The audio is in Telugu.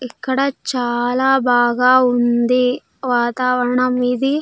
ఇక్కడ చాలా బాగా ఉంది. వాతావరణం ఇది --